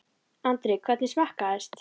Andri: Hvernig smakkaðist?